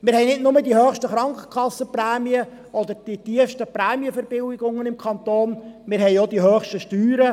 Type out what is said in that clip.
Wir haben nicht nur die höchsten Krankenkassenprämien oder die tiefsten Prämienverbilligungen im Kanton, wir haben auch die höchsten Steuern.